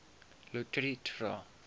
lotriet vra